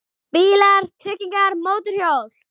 BÍLAR, TRYGGINGAR, MÓTORHJÓL